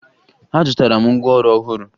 Azụtara m ngwaọrụ ọhụrụ